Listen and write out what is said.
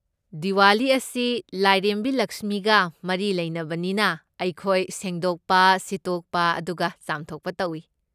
ꯗꯤꯋꯥꯂꯤ ꯑꯁꯤ ꯂꯥꯏꯔꯦꯝꯕꯤ ꯂꯛꯁꯃꯤꯒ ꯃꯔꯤ ꯂꯩꯅꯕꯅꯤꯅ ꯑꯩꯈꯣꯏ ꯁꯦꯡꯗꯣꯛꯄ, ꯁꯤꯠꯇꯣꯛꯄ ꯑꯗꯨꯒ ꯆꯥꯝꯊꯣꯛꯄ ꯇꯧꯏ꯫